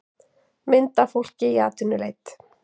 mynd af fólki í atvinnuleit